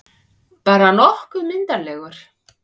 Bara nokkuð myndarlegur.